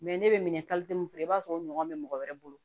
ne bɛ minɛ min fɛ i b'a sɔrɔ o ɲɔgɔn bɛ mɔgɔ wɛrɛ bolo